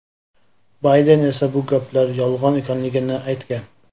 Bayden esa bu gaplar yolg‘on ekanligini aytgan.